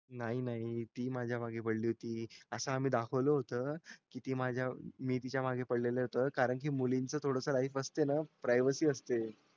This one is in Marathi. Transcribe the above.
नाही नाही ती मागे माझा मागे पडली अस्या होती असं आम्ही दाखवलो होत कि ती माझा मी तिच्या मागे पडलेलो कारण कि मुलींची थोडीशी life असते privacy असते